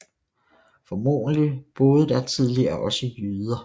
Formodentlig boede der tidligere også jyder